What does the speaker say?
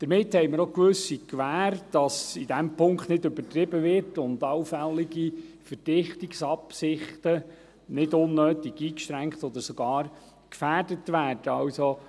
Damit haben wir auch eine gewisse Gewähr, dass in diesem Punkt nicht übertrieben wird und allfällige Verdichtungsabsichten nicht unnötig eingeschränkt oder sogar gefährdet werden.